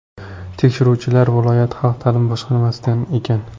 Tekshiruvchilar viloyat xalq ta’limi boshqarmasidan ekan.